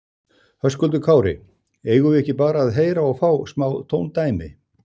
Höskuldur Kári: Eigum við ekki bara að heyra og fá smá tóndæmi?